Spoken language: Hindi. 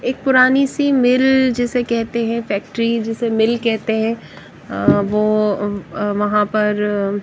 एक पुरानी सी मिल जिसे कहते है फैक्ट्री जिसे मिल कहते है अह वो वहां पर--